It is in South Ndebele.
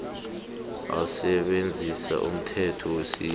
asebenzise umthetho wesintu